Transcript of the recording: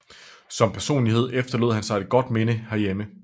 Som personlighed efterlod han sig et godt minde her hjemme